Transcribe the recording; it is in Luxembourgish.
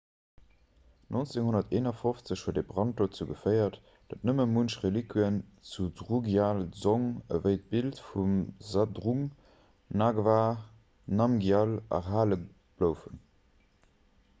1951 huet e brand dozou geféiert datt nëmme munch reliquië vun drukgyal dzong ewéi d'bild vum zhabdrung ngawang namgyal erhale bloufen